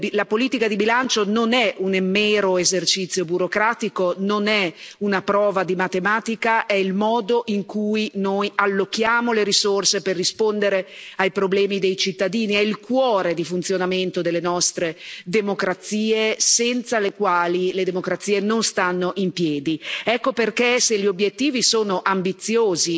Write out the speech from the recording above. La politica di bilancio non è un mero esercizio burocratico, non è una prova di matematica, è il modo in cui noi allochiamo le risorse per rispondere ai problemi dei cittadini, è il cuore di funzionamento delle nostre democrazie, senza le quali le democrazie non stanno in piedi. Ecco perché, se gli obiettivi sono ambiziosi